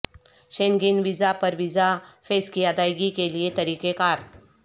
Schengen visa پر visa fee کی ادائیگی کے لئے طریقہ کار